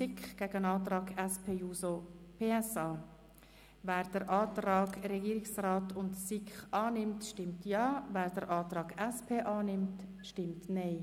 Wer den Antrag des Regierungsrats und der SiK-Mehrheit annimmt, stimmt Ja, wer diesen ablehnt, stimmt Nein.